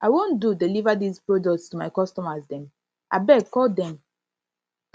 i wan do deliver dis products to my customers dem abeg call dem